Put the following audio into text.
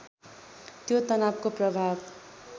त्यो तनावको प्रभाव